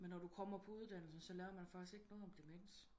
Men når du kommer på uddannelse så lærer man faktisk ikke noget om demens